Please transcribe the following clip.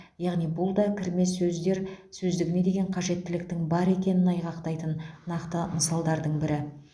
яғни бұл да кірме сөздер сөздігіне деген қажеттіліктің бар екенін айғақтайтын нақты мысалдың бірі